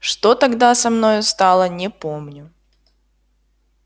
что тогда со мною стало не помню